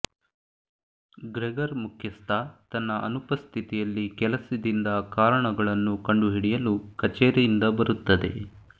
Gregor ಮುಖ್ಯಸ್ಥ ತನ್ನ ಅನುಪಸ್ಥಿತಿಯಲ್ಲಿ ಕೆಲಸದಿಂದ ಕಾರಣಗಳನ್ನು ಕಂಡುಹಿಡಿಯಲು ಕಛೇರಿಯಿಂದ ಬರುತ್ತದೆ